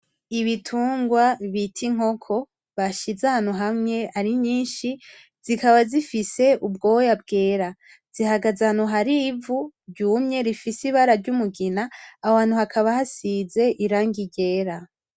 Ibitungwa bita inkoko, bashize ahantu hamwe ari nyinshi. Zikaba zifise ubwoya bwera. Zihagaze ahantu harivu ryumye rifise ibara ry'umugina aho hantu hakaba hasize irangi ryera.